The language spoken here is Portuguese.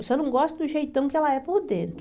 Eu só não gosto do jeitão que ela é por dentro.